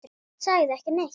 Hann sagði ekki neitt.